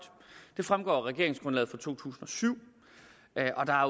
det fremgår af regeringsgrundlaget for to tusind og syv